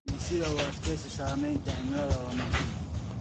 Dhisida u adkeysiga saameynta cimilada waa muhiim.